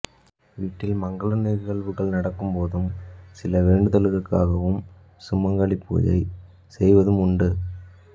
வீட்டில் மங்கல நிகழ்வுகள் நடக்கும் போதும் சில வேண்டுதல்களுக்காகவும் சுமங்கலிப் பூசை செய்வதும் உண்டு